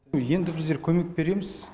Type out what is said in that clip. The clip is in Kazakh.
енді біздер көмек береміз